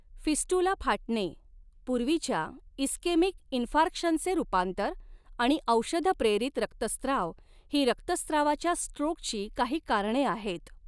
Fistula फाटणे, पूर्वीच्या ischaemic इंफार्क्शनचे रूपांतर आणि औषध प्रेरित रक्तस्त्राव ही रक्तस्त्रावाच्या स्ट्रोकची काही कारणे आहेत.